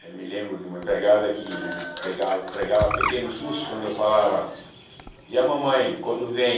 Eu me lembro de uma empregada que me pegava me pregava pequenos sustos quando eu falava, e a mamãe, quando vem?